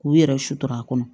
K'u yɛrɛ sutura kɔnɔ